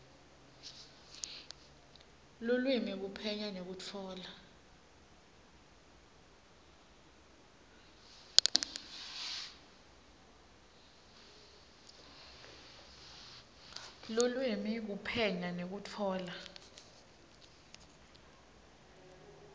lulwimi kuphenya nekutfola